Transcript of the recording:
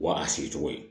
Wa a sigi cogo ye